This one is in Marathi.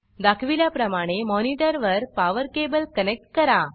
दाखविल्याप्रमाणे मॉनिटर वर पॉवर केबल कनेक्ट करा